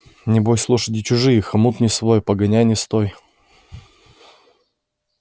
небось лошади чужие хомут не свой погоняй не стой